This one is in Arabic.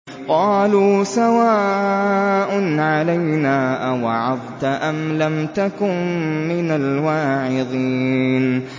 قَالُوا سَوَاءٌ عَلَيْنَا أَوَعَظْتَ أَمْ لَمْ تَكُن مِّنَ الْوَاعِظِينَ